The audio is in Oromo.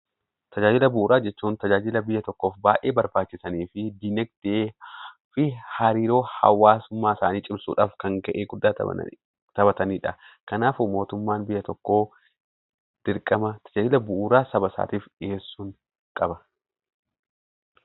Tajaajila bu'uuraa jechuun tajaajila biyya tokkoof baay'ee barbaachisanii fi diinagdee fi hariiroo hawaasummaa isaanii cimsuudhaaf kan gahee guddaa taphataniidha. Kanaafuu, mootummaan biyya tokkoo dirqama tajaajila bu'uuraa saba isaatiif dhiyeessuu qaba.